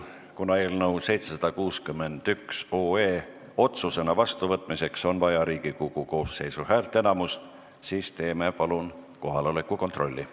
Kuna eelnõu 761 otsusena vastuvõtmiseks on vaja Riigikogu koosseisu häälteenamust, siis teeme palun kohaloleku kontrolli.